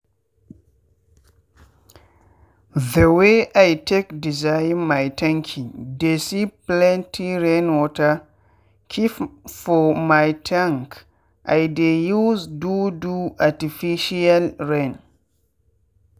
the way i take design my tanki dey see plenty rainwater keep for my tank i dey use do do artificial rain